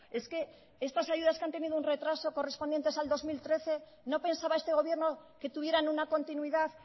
es que estas ayudas que han tenido un retraso correspondientes al dos mil trece no pensaba este gobierno que tuvieran una continuidad